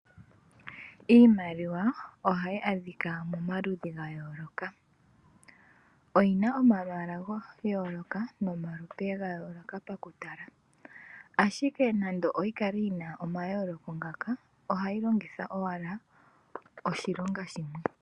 Iimaliwa ohayi adhika momaludhi ga yooloka . Oyina omalwaala ga yooloka nomalupe ga yooloka mokutala ,ashike nande yikale yina omayooloko ngaka ohayi longithwa owala oshilonga shimwe.